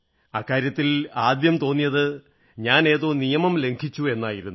അക്കാര്യത്തിൽ ആദ്യം തോന്നിയത് ഞാനേതോ നിയമം ലംഘിച്ചു എന്നായിരുന്നു